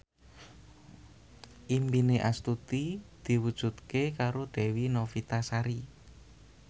impine Astuti diwujudke karo Dewi Novitasari